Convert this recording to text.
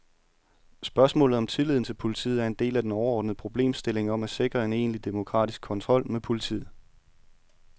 Spørgsmålet om tilliden til politiet er en del af den overordnede problemstilling om at sikre en egentlig demokratisk kontrol med politiet.